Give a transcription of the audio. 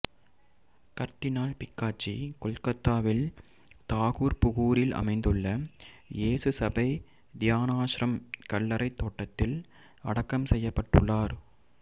கர்தினால் Picachy கொல்கத்தாவில் தாக்கூர்புகூரில் அமைந்துள்ள இயேசு சபை தியானாஷ்ரம் கல்லறைத் தோட்டத்தில் அடக்கம் செய்யப்பட்டுள்ளார்